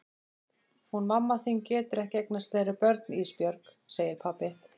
Hún mamma þín getur ekki eignast fleiri börn Ísbjörg, segir pabbi.